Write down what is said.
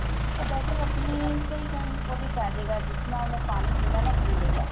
ਉਹ better ਆਪਣੀ ਸਹੀ ਉਹਦੇ ਚ ਆ ਜੇ ਗਾ ਜਿਤਣਾ ਉਹਨੇ ਪਾਣੀ ਪੀਣਾ ਨਾ ਪੀ ਲੈ ਗਾ